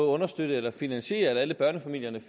understøtte eller finansiere at alle børnefamilier